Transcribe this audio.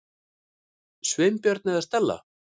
Sveinbjörn eða Stella.